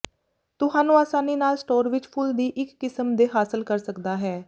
ਤੁਹਾਨੂੰ ਆਸਾਨੀ ਨਾਲ ਸਟੋਰ ਵਿੱਚ ਫ਼ੁੱਲ ਦੀ ਇੱਕ ਕਿਸਮ ਦੇ ਹਾਸਲ ਕਰ ਸਕਦਾ ਹੈ